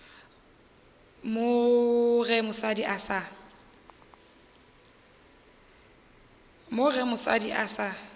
mo ge mosadi a sa